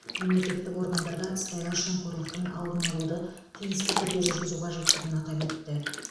мемлекеттік органдарда сыбайлас жемқорлықтың алдын алуды тиісті түрде жүргізу қажеттігін атап өтті